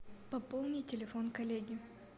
пополни телефон коллеги